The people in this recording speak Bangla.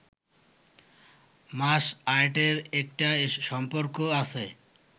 মাস আর্টের একটা সম্পর্ক আছে